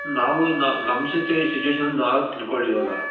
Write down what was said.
ನಮ್ situation ಅಲ್ಲಿ ನಾವು ತಿಳ್ಕೊಳೋಣ ಇವಾಗ.